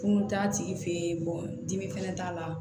Kun t'a tigi fɛ yen dimi fɛnɛ t'a la